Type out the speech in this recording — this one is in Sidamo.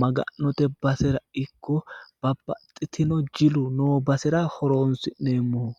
maganote basera ikko babbaxxino jilu noo basera horonsi'neemmoho.